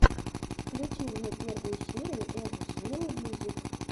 включи мне первую серию эсджи мьюзик